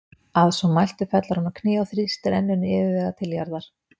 Að svo mæltu fellur hann á kné og þrýstir enninu yfirvegað til jarðar.